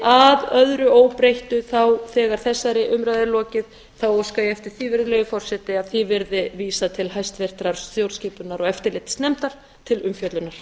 að öðru óbreyttu þegar þessari umræðu er lokið óska ég eftir því virðulegi forseti að því verði vísað til háttvirtrar stjórnskipunar og eftirlitsnefndar til umfjöllunar